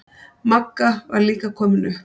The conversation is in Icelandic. Magga var líka komin upp.